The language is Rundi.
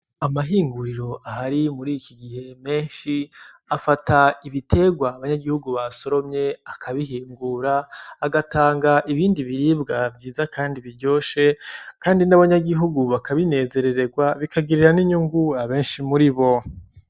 Amahinguriro ahari murikigihe menshi afata ibitegwa abanyangihugu basoromye akabihingura agatanga ibindi biribwa vyiza Kandi biryoshe Kandi n'abanyagihugu bakabinezereregwa bikagirira n'inyungu abenshi muribo.